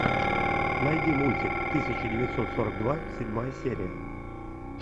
найди мультик тысяча девятьсот сорок два седьмая серия